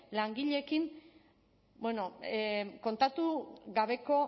langileekin bueno kontatu gabeko